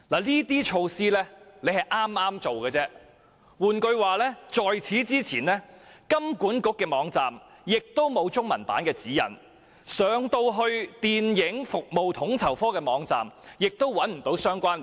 這些措施是剛剛推出的，換言之，在此之前，金管局的網站並沒有中文版指引，而且統籌科的網站也沒有相關連結。